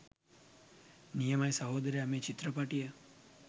නියමයි සහොදරයා මේ චිත්‍රපටිය.